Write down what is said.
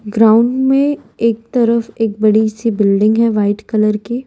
Ground में एक तरफ एक बड़ी सी बिल्डिंग है वाइट कलर की।